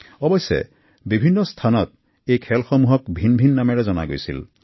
অৱশ্যে বিভিন্ন স্থানত এই খেলসমূহক ভিন ভিন নামেৰে জনা গৈছিল